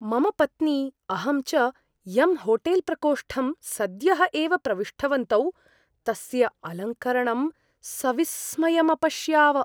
मम पत्नी, अहं च यं होटेल्प्रकोष्ठं सद्यः एव प्रविष्टवन्तौ तस्य अलङ्करणं सविस्मयम् अपश्याव।